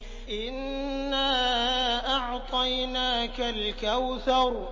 إِنَّا أَعْطَيْنَاكَ الْكَوْثَرَ